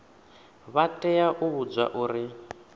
vha tea u vhudzwa uri